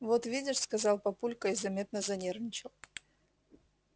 вот видишь сказал папулька и заметно занервничал